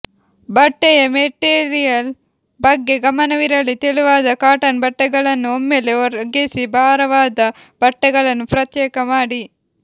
ಬಟ್ಟೆಯ ಮೆಟೀರಿಯಲ್ ಬಗ್ಗೆ ಗಮನವಿರಲಿ ತೆಳುವಾದ ಕಾಟನ್ ಬಟ್ಟೆಗಳನ್ನು ಒಮ್ಮೆಲೇ ಒಗೆಸಿ ಭಾರವಾದ ಬಟ್ಟೆಗಳನ್ನು ಪ್ರತ್ಯೇಕ ಮಾಡಿ